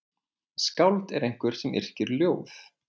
Skáld er einhver sem yrkir ljóð.